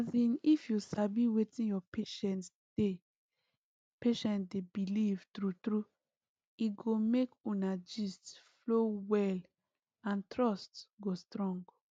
as in if you sabi wetin your patient dey patient dey believe true true e go make una gist flow well and trust go strong